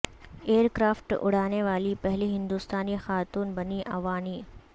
year craft اڑانے والی پہلی ہندوستانی خاتون بنی اوانی